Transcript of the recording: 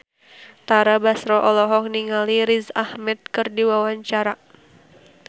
Tara Basro olohok ningali Riz Ahmed keur diwawancara